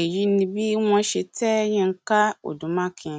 èyí ni bí wọn ṣe tẹ yinka odu makin